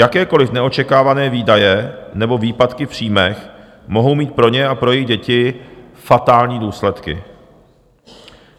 Jakékoliv neočekávané výdaje nebo výpadky v příjmech mohou mít pro ně a pro jejich děti fatální důsledky.